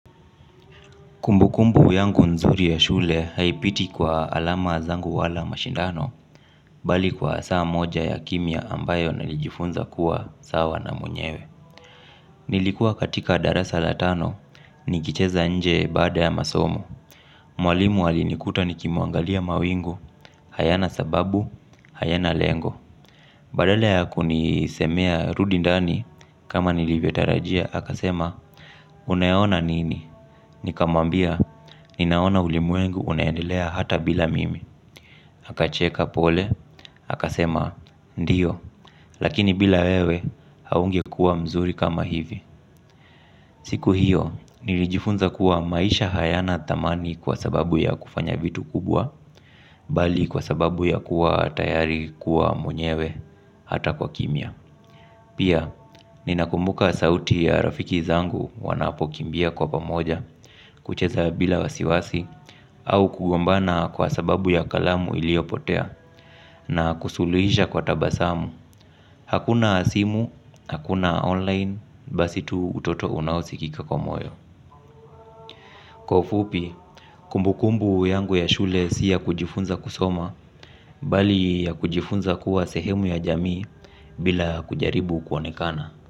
Kumbukumbu yangu nzuri ya shule haipiti kwa alama zangu wala mashindano, bali kwa saa moja ya kimia ambayo nalijifunza kuwa saa wanamunyewe. Nilikuwa katika darasa la tano, nikicheza nje bada ya masomo. Mwalimu alinikuta nikimuangalia mawingu, hayana sababu, hayana lengo. Badala ya kunisemea rudi ndani kama nilivetarajia haka sema unayona nini. Nikamambia ninaona ulimuengu unayendelea hata bila mimi. Haka cheka pole haka sema ndiyo. Lakini bila wewe haungekuwa mzuri kama hivi. Siku hiyo nilijifunza kuwa maisha hayana tamani kwa sababu ya kufanya vitu kubwa bali kwa sababu ya kuwa tayari kuwa mwenyewe hata kwa kimia. Pia, ninakumbuka sauti ya rafiki zangu wanapokimbia kwa pamoja, kucheza bila wasiwasi, au kugombana kwa sababu ya kalamu iliopotea, na kusulisha kwa tabasamu, hakuna asimu, hakuna online, basi tu utoto unawosikika kwa moyo. Koufupi, kumbukumbu yangu ya shule siya kujifunza kusoma, bali ya kujifunza kuwa sehemu ya jamii bila kujaribu kwonekana.